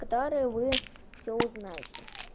которые вы всё узнаете